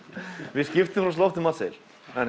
við skiptum oft um matseðil